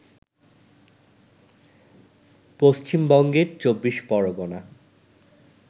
পশ্চিমবঙ্গের চবিবশ পরগনা